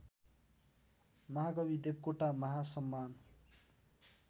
महाकवि देवकोटा महासम्मान